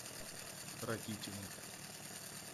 ракитину